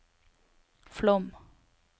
Flåm